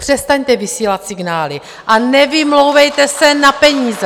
Přestaňte vysílat signály a nevymlouvejte se na peníze.